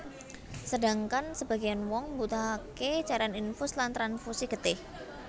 Sedangkan sebageyan wong mbutuhake cairan infus lan transfusi getih